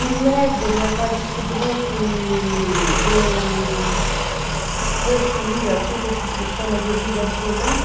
E logo meu pai descobriu que eu possuía aquilo que se chama de ouvido absoluto.